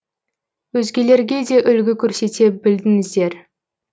өзгелерге де үлгі көрсете білдіңіздер